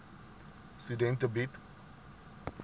studente bied